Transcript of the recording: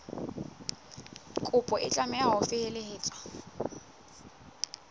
kopo e tlameha ho felehetswa